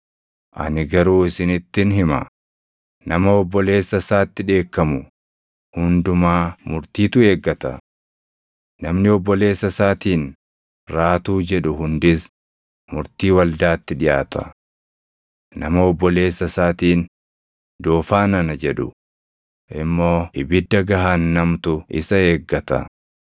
Ani garuu isinittin hima; nama obboleessa isaatti dheekkamu hundumaa murtiitu eeggata. Namni obboleessa isaatiin \+tl ‘Raatuu’\+tl* jedhu hundis murtii waldaatti dhiʼaata. Nama obboleessa isaatiin ‘Doofaa nana!’ jedhu immoo ibidda gahaannamtu isa eeggata.